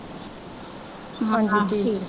ਮੁੰਡਾ ਤੇ ਠੀਕ।